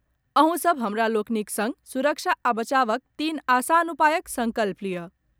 अहूँ सभ हमरा लोकनि संग सुरक्षा आ बचावक तीन आसान उपायक संकल्प लियऽ।